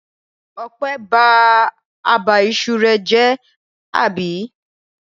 Ọpẹ́ ba abà iṣu rẹ̀ jẹ́, àbí?